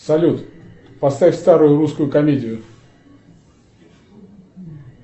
салют поставь старую русскую комедию